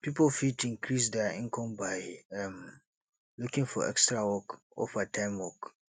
pipo fit increase their income by um looking for extra work or part time work